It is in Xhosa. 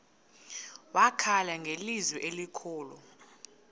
wakhala ngelizwi elikhulu